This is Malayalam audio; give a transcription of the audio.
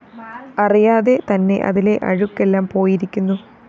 അറിയാതെ തന്നെ അതിലെ അഴുക്കെല്ലാം പോയിരിക്കുന്നു